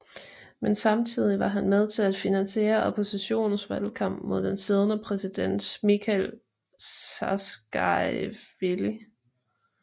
Men samtidig var han med til at finansiere oppositionens valgkamp mod den siddende præsident Mikheil Saakasjvili